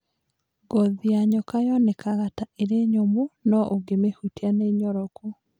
Ngothi ya nyoka yonekaga ta ĩrĩ nyumu no ũngĩmĩhutia nĩ nyororoku.